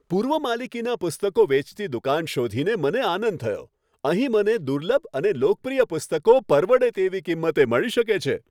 પૂર્વ માલિકીના પુસ્તકો વેચતી દુકાન શોધીને મને આનંદ થયો. અહીં મને દુર્લભ અને લોકપ્રિય પુસ્તકો પરવડે તેવી કિંમતે મળી શકે છે.